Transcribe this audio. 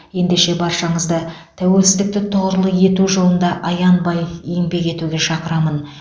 ендеше баршаңызды тәуелсіздікті тұғырлы ету жолында аянбай еңбек етуге шақырамын